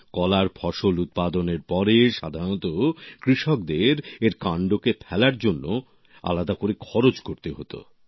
কলার ফসল উৎপাদনের পরে সাধারণত কৃষকদের এর কান্ডকে ফেলার জন্য আলাদা করে খরচ করতে হতো